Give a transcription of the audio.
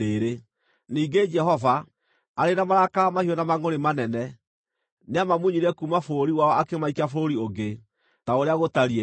Ningĩ Jehova, arĩ na marakara mahiũ na mangʼũrĩ manene, nĩamamunyire kuuma bũrũri wao akĩmaikia bũrũri ũngĩ, ta ũrĩa gũtariĩ rĩu.”